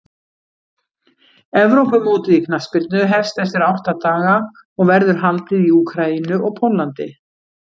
Evrópumótið í knattspyrnu hefst eftir átta daga og verður haldið í Úkraínu og Póllandi.